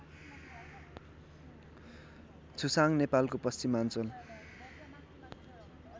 छुसाङ नेपालको पश्चिमाञ्चल